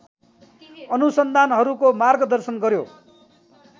अनुसन्धानहरूको मार्गदर्शन गर्‍यो।